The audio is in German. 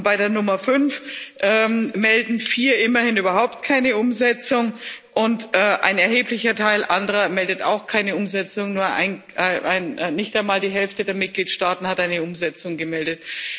Bei der Nummer 5 melden vier immerhin überhaupt keine Umsetzung, und ein erheblicher Teil anderer meldet auch keine Umsetzung, nicht einmal die Hälfte der Mitgliedstaaten hat eine Umsetzung gemeldet.